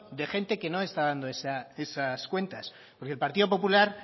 de gente que no está dando esas cuentas porque el partido popular